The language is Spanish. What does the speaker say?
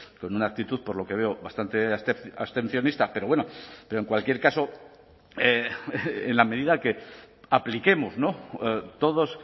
con una actitud por lo que veo bastante abstencionista pero bueno pero en cualquier caso en la medida que apliquemos todos